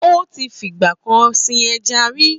Ó ti fi ìgbà kan sin ẹja rí.